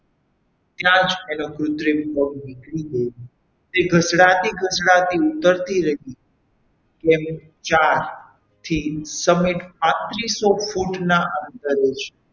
ત્યાં જ એનો કુત્રિમ પગ નીકળી ગયો તે ઘસડાતી ઘસડાતી ઉતરતી રહી એમ ચાર થી સમિત પાંત્રીસો ફૂટના અંતરે છે.